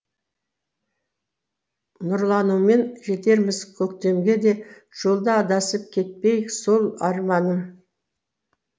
нұрланумен жетерміз көктемге де жолда адасып кетпейік сол арманым